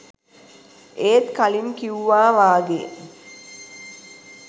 ඒත් කලින් කිවුවා වගේ